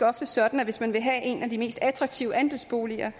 ofte sådan at hvis man vil have en af de mest attraktive andelsboliger